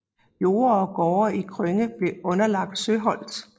Jorder og gårde i Krønge blev underlagt Søholt